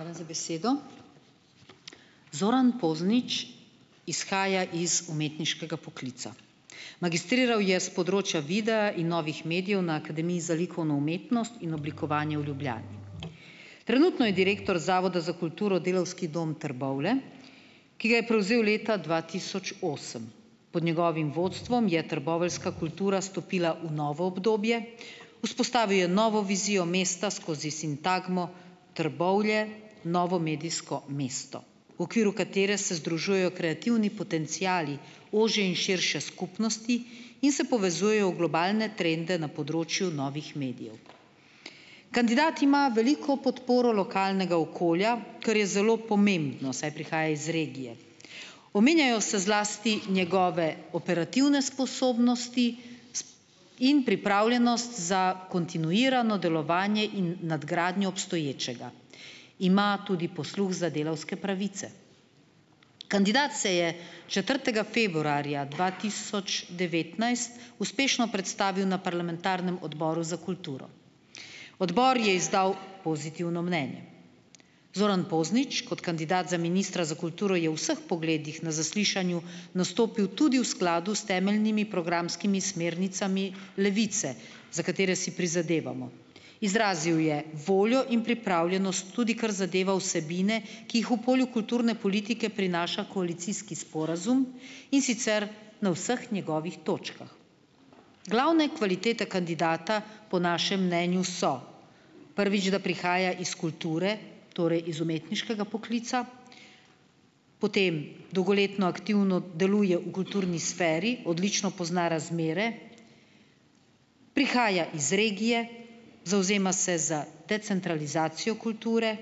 Hvala za besedo. Zoran Poznič izhaja iz umetniškega poklica. Magistriral je s področja videa in novih medijev na Akademiji za likovno umetnost in oblikovanje v Ljubljani. Trenutno je direktor Zavoda za kulturo, Delavski dom Trbovlje, ki ga je prevzel leta dva tisoč osem. Pod njegovim vodstvom je trboveljska kultura stopila v novo obdobje, vzpostavil je novo vizijo mesta skozi sintagmo "Trbovlje - novo medijsko mesto", v okviru katere se združujejo kreativni potenciali ožje in širše skupnosti in se povezujejo v globalne trende na področju novih medijev. Kandidat ima veliko podporo lokalnega okolja, kar je zelo pomembno, saj prihaja iz regije. Omenjajo se zlasti njegove operativne sposobnosti in pripravljenost za kontinuirano delovanje in nadgradnjo obstoječega. Ima tudi posluh za delavske pravice. Kandidat se je četrtega februarja dva tisoč devetnajst uspešno predstavil na parlamentarnem Odboru za kulturo. Odbor je izdal pozitivno mnenje. Zoran Poznič kot kandidat za ministra za kulturo je v vseh pogledih na zaslišanju nastopil tudi v skladu s temeljnimi programskimi smernicami Levice, za katere si prizadevamo. Izrazil je voljo in pripravljenost tudi kar zadeva vsebine, ki jih v polju kulturne politike prinaša koalicijski sporazum, in sicer na vseh njegovih točkah. Glavne kvalitete kandidata po našem mnenju so, prvič, da prihaja iz kulture, torej iz umetniškega poklica; potem dolgoletno aktivno deluje v kulturni sferi, odlično pozna razmere; prihaja iz regije, zavzema se za decentralizacijo kulture;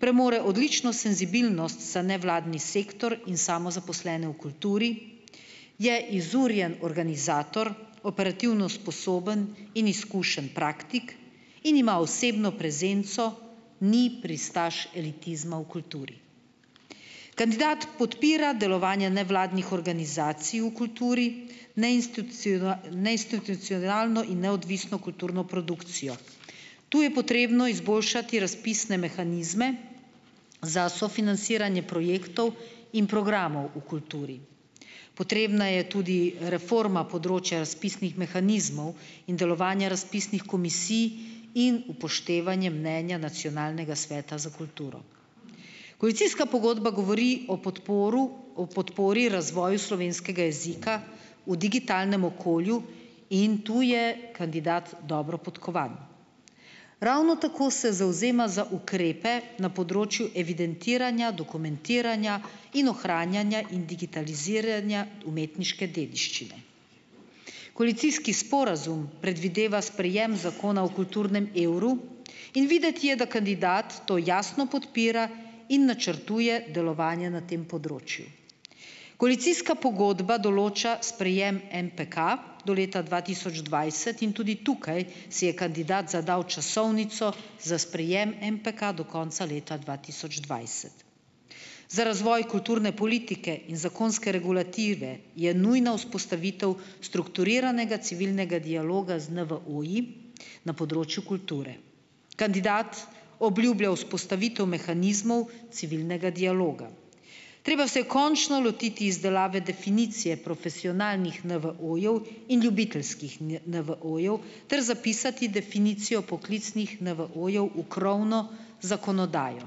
premore odlično senzibilnost za nevladni sektor in samozaposlene v kulturi; je izurjen organizator, operativno sposoben in izkušen praktik in ima osebno prezenco, ni pristaš elitizma v kulturi. Kandidat podpira delovanje nevladnih organizacij v kulturi, neinstitucionalno in neodvisno kulturno produkcijo. Tu je potrebno izboljšati razpisne mehanizme za sofinanciranje projektov in programov v kulturi. Potrebna je tudi reforma področja razpisnih mehanizmov in delovanja razpisnih komisij in upoštevanje mnenja Nacionalnega sveta za kulturo. Koalicijska pogodba govori o podporu o podpori razvoju slovenskega jezika v digitalnem okolju in tu je kandidat dobro podkovan. Ravno tako se zavzema za ukrepe na področju evidentiranja, dokumentiranja in ohranjanja in digitaliziranja umetniške dediščine. Koalicijski sporazum predvideva sprejem Zakona o kulturnem evru in videti je, da kandidat to jasno podpira in načrtuje delovanje na tem področju. Koalicijska pogodba določa sprejem MPK do leta dva tisoč dvajset in tudi tukaj si je kandidat zadal časovnico za sprejem MPK do konca leta dva tisoč dvajset. Za razvoj kulturne politike in zakonske regulative je nujna vzpostavitev strukturiranega civilnega dialoga z NVO-ji na področju kulture. Kandidat obljublja vzpostavitev mehanizmov civilnega dialoga. Treba se je končno lotiti izdelave definicije profesionalnih NVO-jev in ljubiteljskih NVO-jev ter zapisati definicijo poklicnih NVO-jev v krovno zakonodajo.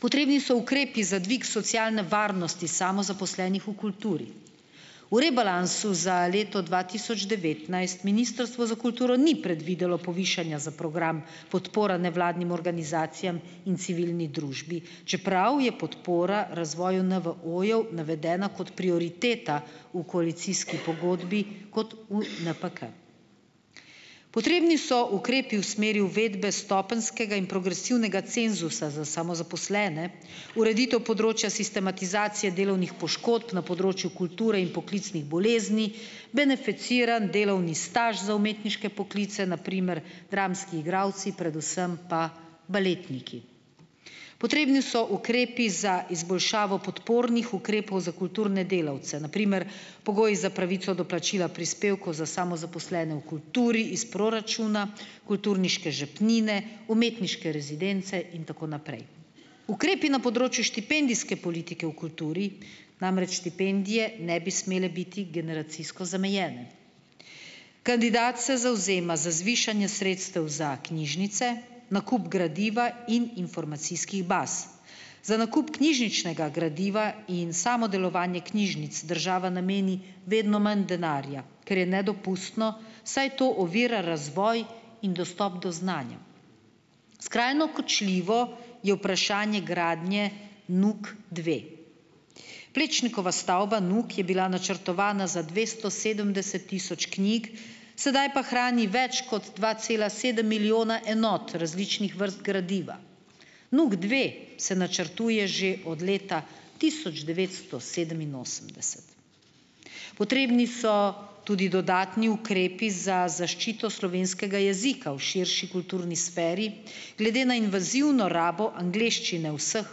Potrebni so ukrepi za dvig socialne varnosti samozaposlenih v kulturi. V rebalansu za leto dva tisoč devetnajst Ministrstvo za kulturo ni predvidelo povišanja za program Podpora nevladnim organizacijam in civilni družbi, čeprav je podpora razvoju NVO-jev navedena kot prioriteta v koalicijski pogodbi, kot NPK. Potrebni so ukrepi v smeri uvedbe stopenjskega in progresivnega cenzusa za samozaposlene, ureditev področja sistematizacije delovnih poškodb na področju kulture in poklicnih bolezni, beneficiran delovni staž za umetniške poklice, na primer dramski igralci, predvsem pa baletniki. Potrebni so ukrepi za izboljšavo podpornih ukrepov za kulturne delavce, na primer pogoji za pravico do plačila prispevkov za samozaposlene v kulturi iz proračuna, kulturniške žepnine, umetniške rezidence in tako naprej. Ukrepi na področju štipendijske politike v kulturi, namreč štipendije ne bi smele biti generacijsko zamejene. Kandidat se zavzema za zvišanje sredstev za knjižnice, nakup gradiva in informacijskih baz. Za nakup knjižničnega gradiva in samo delovanje knjižnic država nameni vedno manj denarja, kar je nedopustno, saj to ovira razvoj in dostop do znanja. Skrajno kočljivo je vprašanje gradnje NUK dve. Plečnikova stavba NUK je bila načrtovana za dvesto sedemdeset tisoč knjig, sedaj pa hrani več kot dva cela sedem milijona enot različnih vrst gradiva. NUK dve se načrtuje že od leta tisoč devetsto sedeminosemdeset. Potrebni so tudi dodatni ukrepi za zaščito slovenskega jezika v širši kulturni sferi, glede na invazivno rabo angleščine v vseh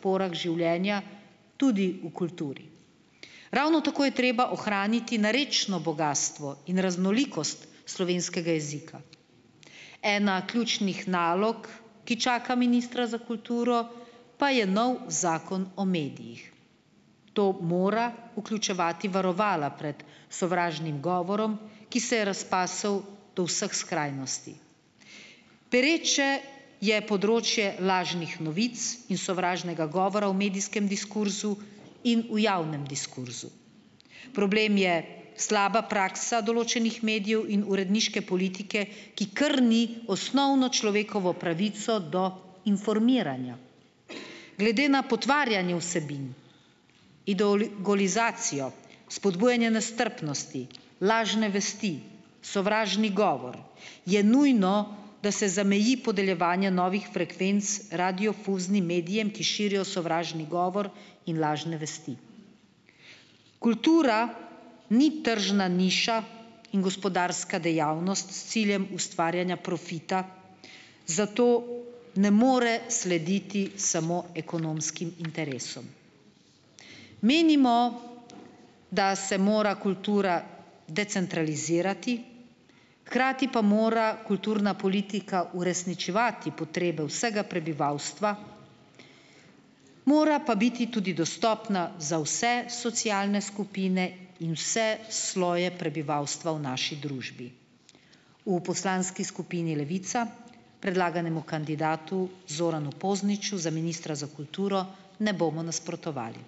porah življenja, tudi v kulturi. Ravno tako je treba ohraniti narečno bogastvo in raznolikost slovenskega jezika. Ena ključnih nalog, ki čaka ministra za kulturo, pa je novi Zakon o medijih. To mora vključevati varovala pred sovražnim govorom, ki se je razpasel do vseh skrajnosti. Pereče je področje lažnih novic in sovražnega govora v medijskem diskurzu in v javnem diskurzu. Problem je slaba praksa določenih medijev in uredniške politike, ki krni osnovno človekovo pravico do informiranja. Glede na potvarjanje vsebin, ideologizacijo, spodbujanje nestrpnosti, lažne vesti, sovražni govor je nujno, da se zameji podeljevanje novih frekvenc radiodifuznim medijem, ki širijo sovražni govor in lažne vesti. Kultura ni tržna niša in gospodarska dejavnost s ciljem ustvarjanja profita, zato ne more slediti samo ekonomskim interesom. Menimo, da se mora kultura decentralizirati, hkrati pa mora kulturna politika uresničevati potrebe vsega prebivalstva, mora pa biti tudi dostopna za vse socialne skupine in vse sloje prebivalstva u naši družbi. V poslanski skupini Levica predlaganemu kandidatu Zoranu Pozniču za ministra za kulturo ne bomo nasprotovali.